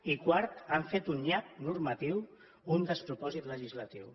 i quart han fet un nyap normatiu un despropòsit legislatiu